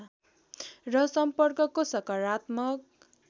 र सम्पर्कको सकारात्मक